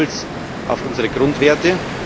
Wir sind stolz auf unsere Grundwerte.